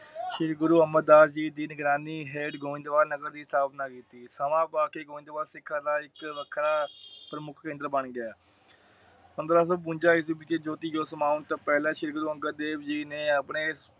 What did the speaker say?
ਸ਼੍ਰੀ ਗੁਰੂ ਅਮਰ ਦਾਸ ਜੀ ਦੀ ਨਿਗਰਾਨੀ ਹੇਠ ਗੋਬਿੰਦ ਬਾਲ ਨਗਰ ਦੀ ਸਥਾਪਨਾ ਕੀਤੀ। ਵੱਖਰਾ ਪ੍ਰਮੁਖੀ ਇੰਦਰ ਬਣ ਗਿਆ। ਪੰਦ੍ਹਰਾ ਸੋ ਬਵੰਜਾ ਈਸਵੀ ਵਿਚ ਜੋਤਿ ਜੋਤ ਦੀ ਸਮਾਨ ਤੋਂ ਪਹਿਲਾ ਸ਼੍ਰੀ ਗੁਰੂ ਅੰਗਦ ਦੇਵ ਜੀ ਨੇ ਆਪਣੇ